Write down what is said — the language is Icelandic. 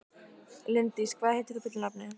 Líndís, hvað heitir þú fullu nafni?